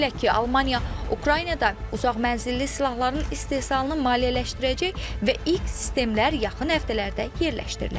Belə ki, Almaniya Ukraynada uzaqmənzilli silahların istehsalını maliyyələşdirəcək və ilk sistemlər yaxın həftələrdə yerləşdirilə bilər.